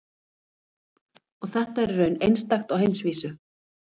Og þetta er í raun einstakt á heimsvísu?